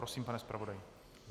Prosím, pane zpravodaji.